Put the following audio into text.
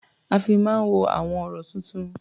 A fi máa ń wo àwọn ọ̀rọ̀-tuntun.